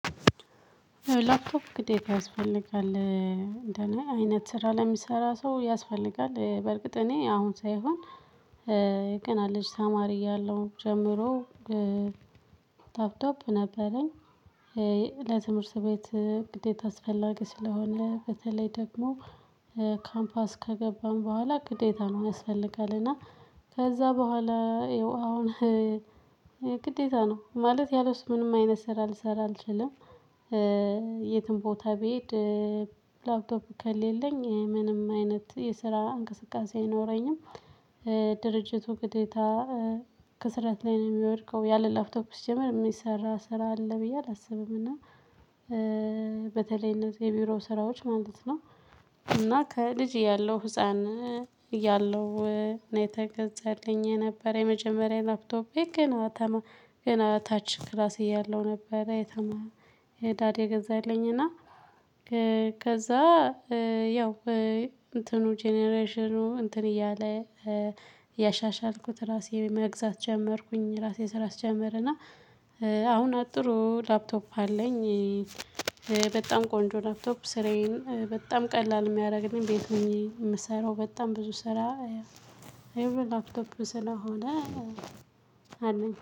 ላፕቶፕ ግዴታ ያስፈልጋል እንደኔ አይነት ስራ ለሚሰራ ሰው ያስፈልጋል በእርግጥ እኔ አሁን ሳይሆን ገና ልጅ ተማሪ እያለሁ ጀምሮ ላፕቶፕ ነበረኝ። ለትምህርት ቤት ግዴታ አስፈላጊ ስለሆነ በተለይ ደግሞ ካምፓስ ከገባን በኋላ ግዴታ ነው ያስፈልጋል እና ከዛ በኋላ አሁን ግዴታ ነው ማለት ያለሱ ምንም አይነት ስራ ልሰራ አልችልም። የትም ቦታ ቢሄድ ላፕቶፕ ከሌለኝ ምንም አይነት የስራ እንቅስቃሴ አይኖረኝም። ድርጅቱ ግዴታ ክስረት ላይ ነው እሚወድቀው ያለ ላፕቶፕ ሲጀመር እሚሰራ ስራ አለ ብዬ አላስብም። እና በተለይ እነዚህ የቢሮ ስራዎች ማለት ነው። እና ከልጅ እያለው ህፃን እያለው ነው የተገዛልኝ የነበር የመጀመሪያ ላፕቶፔ። ገና ታች ክላስ እያለሁ ነበር። ዳድ የገዛልኝ እና ከዛ ያው እንትኑ ጀነሬሽኑ እንትን እያለ ያሻሻልኩት ራሴ መግዛት ጀመርኩኝ ራሴ ስራ ስጀምርና አሁን ጥሩ ላፕቶፕ አለኝ። በጣም ቆንጆ ላፕቶፕ ስራዬን በጣም ቀላል እሚያደርግልኝ ቤት ሆኜ እምሰራው በጣም ብዙ ስራ። ላፕቶፕ ስለሆነ ሆነ አለኝ